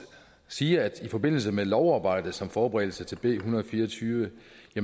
sige at jeg i forbindelse med lovarbejdet som forberedelse til b en hundrede og fire og tyve